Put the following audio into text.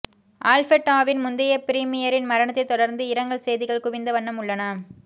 ஆல்பர்டாவின் முந்தைய ப்ரீமியரின் மரணத்தை தொடர்ந்து இரங்கல் செய்திகள் குவிந்த வண்ணம் உள்ளன